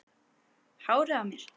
Hárið á mér?